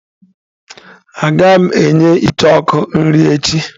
Agaghị m enye icheoku nri echi.